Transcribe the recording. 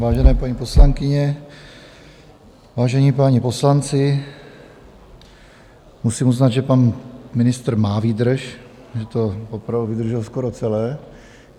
Vážené paní poslankyně, vážení páni poslanci, musím uznat, že pan ministr má výdrž, že to opravdu vydržel skoro celé.